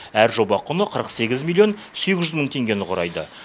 әр жоба құны қырық сегіз миллион сегіз жүз мың теңгені құрайды